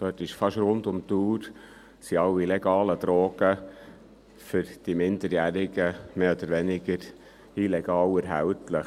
Dort sind fast rund um die Uhr alle legalen Drogen für die Minderjährigen mehr oder weniger illegal erhältlich.